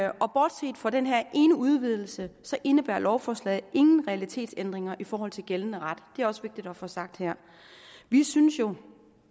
og bortset fra den her ene udvidelse indebærer lovforslaget ingen realitetsændringer i forhold til gældende ret det er også vigtigt at få sagt her vi synes jo